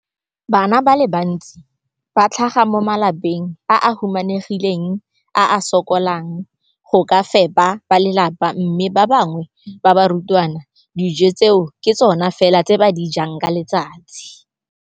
Bana ba le bantsi ba tlhaga mo malapeng a a humanegileng a a sokolang go ka fepa ba lelapa mme ba bangwe ba barutwana, dijo tseo ke tsona fela tse ba di jang ka letsatsi.